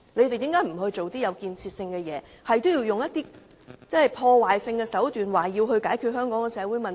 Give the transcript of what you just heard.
為何他們不做些有建設性的事情，反而不斷利用破壞性手段解決香港的社會問題？